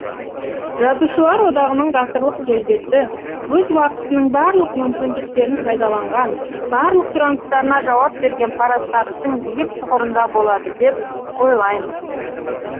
жазушылар одағының ғасырлық келбеті өз уақытының барлық мүмкіндіктерін пайдаланған барлық сұраныстарына жауап берген парасаттың биік тұғырында болады деп ойлаймын